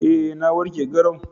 Eh na warke garau